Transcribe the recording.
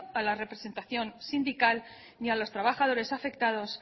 para la representación sindical ni a los trabajadores afectados